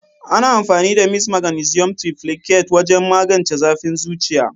Ana amfani da "mist maganisium triplicate" wajen magance zafin zuciya.